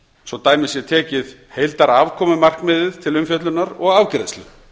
svo dæmi sé tekið heildarafkomumarkmiðið til umfjöllunar og afgreiðslu